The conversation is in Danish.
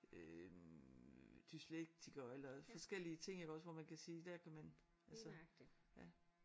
Øh dyslektikere eller forskellige ting iggås hvor man kan sige der kan man altså ja